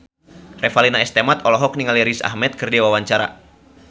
Revalina S. Temat olohok ningali Riz Ahmed keur diwawancara